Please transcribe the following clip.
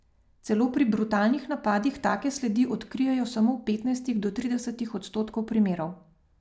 Celo pri brutalnih napadih take sledi odkrijejo samo v petnajstih do tridesetih odstotkov primerov.